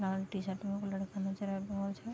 लाल T-shirt में एगो लड़का नजर आब रहल छै।